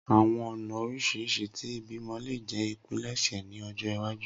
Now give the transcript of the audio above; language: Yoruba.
Awọn ọna oriṣiriṣi ti ibimọ le jẹ ipilẹṣẹ ni ọjọ iwaju